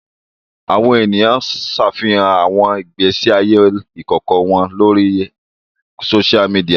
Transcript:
Awọn eniyan ṣafihan awọn igbesi aye ikọkọ wọn lori sósia midiya